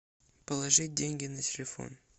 положить деньги на телефон